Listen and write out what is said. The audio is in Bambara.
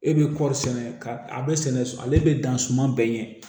E bɛ kɔɔri sɛnɛ ka a bɛ sɛnɛ ale bɛ dan suman bɛɛ ɲɛ